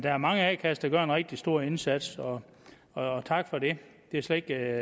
er mange a kasser der gør en rigtig stor indsats og og tak for det det er slet ikke